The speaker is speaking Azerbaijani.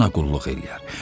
Ona qulluq eləyər.